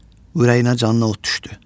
Ürəyinə canına od düşdü.